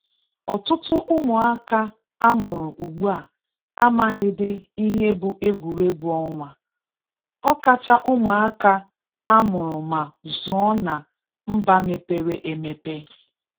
Ọtụtụ ụmụaka amụrụ ugbua amaghịdị ihe bụ egwuregwu ọnwa, ọkacha ụmụaka a mụrụ ma zụọ na mba mepere emepe